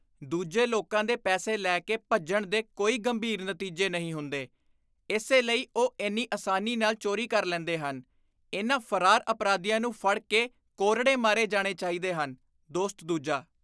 ਦੂਜੇ ਲੋਕਾਂ ਦੇ ਪੈਸੇ ਲੈ ਕੇ ਭੱਜਣ ਦੇ ਕੋਈ ਗੰਭੀਰ ਨਤੀਜੇ ਨਹੀਂ ਹੁੰਦੇ , ਇਸੇ ਲਈ ਉਹ ਇੰਨੀ ਅਸਾਨੀ ਨਾਲ ਚੋਰੀ ਕਰ ਲੈਂਦੇ ਹਨ ਇਨ੍ਹਾਂ ਫਰਾਰ ਅਪਰਾਧੀਆਂ ਨੂੰ ਫੜ ਕੇ ਕੋਰਡੇ ਮਾਰੇ ਜਾਣੇ ਚਾਹੀਦੇ ਹਨ ਦੋਸਤ ਦੂਜਾ